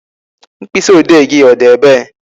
Mkpịsị odee gị ọ dị ebe?